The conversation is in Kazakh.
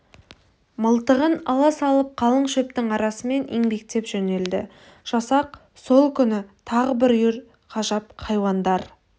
мылтығын ала салып қалың шөптің арасымен еңбектеп жөнелді жасақ сол күні тағы бір үйір ғажап хайуандар